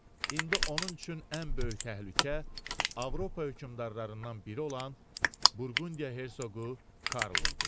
İndi onun üçün ən böyük təhlükə Avropa hökmdarlarından biri olan Burqundiya Hersoqu Karl idi.